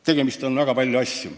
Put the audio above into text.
Teha on väga palju.